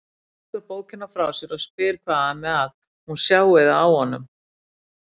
Hún leggur bókina frá sér og spyr hvað ami að, hún sjái það á honum.